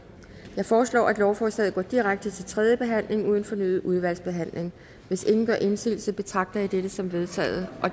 jeg foreslår at lovforslaget går direkte til tredje behandling uden fornyet udvalgsbehandling hvis ingen gør indsigelse betragter jeg dette som vedtaget